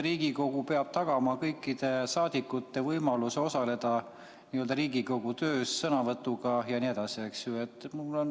Riigikogu peab tagama kõikide saadikute võimaluse osaleda Riigikogu töös sõnavõtuga jne.